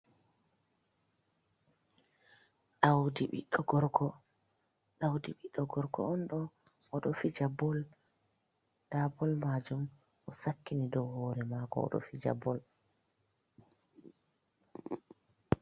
Ɗaudi biɗɗo gorko. Ɗaudi ɓiɗɗo gorko on ɗo oɗo fija bol, nda bol majum o sakkini dau hore mako oɗo fija bol.